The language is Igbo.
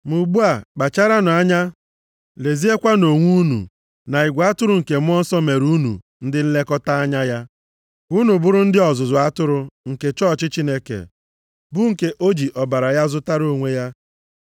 Ma ugbu a, kpacharanụ anya! Leziekwanụ onwe unu na igwe atụrụ nke Mmụọ Nsọ mere unu ndị nlekọta anya ya. Ka unu bụrụ ndị ọzụzụ atụrụ nke chọọchị Chineke, bụ nke o ji ọbara ya zụtara onwe ya.